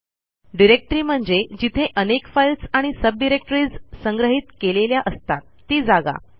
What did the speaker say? directory म्हणजे जिथे अनेक फाईल्स आणि सब डिरेक्टरीज संग्रहित केलेल्या असतात ती जागा